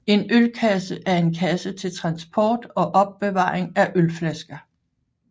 En ølkasse er en kasse til transport og opbevaring af ølflasker